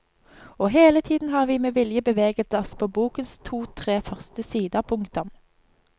Og hele tiden har vi med vilje beveget oss på bokens totre første sider. punktum